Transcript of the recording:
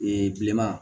Ee bileman